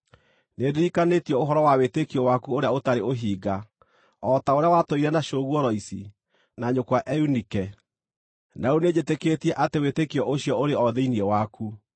Nĩndirikanĩtio ũhoro wa wĩtĩkio waku ũrĩa ũtarĩ ũhinga, o ta ũrĩa watũire na cũguo Loisi, na nyũkwa Eunike, na rĩu nĩnjĩtĩkĩtie atĩ wĩtĩkio ũcio ũrĩ o thĩinĩ waku.